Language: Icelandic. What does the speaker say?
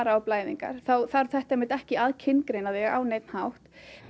á blæðingar þá þarf þetta ekki að kyngreina þig á neinn hátt